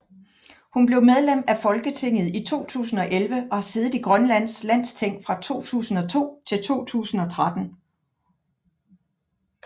Hun blev medlem af Folketinget i 2011 og har siddet i Grønlands Landsting fra 2002 til 2013